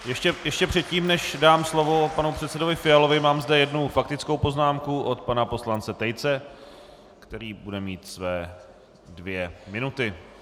Ještě předtím, než dám slovo panu předsedovi Fialovi, mám zde jednu faktickou poznámku od pana poslance Tejce, který bude mít své dvě minuty.